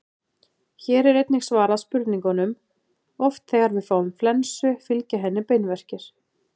Hér er einnig svarað spurningunum: Oft þegar við fáum flensu fylgja henni beinverkir.